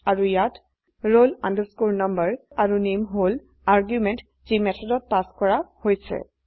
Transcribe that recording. আৰু ইয়াত roll number আৰু নামে হল আৰ্গুমেন্ট যি মেথডত পাস কৰা হৈছে